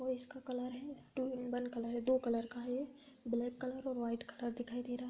और इसका कलर है टू-इन-वन कलर है दो कलर का है ये ब्लैक कलर और वाइट कलर दिखाई दे रहा है।